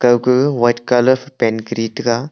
kauka white colour phai paint kori diga.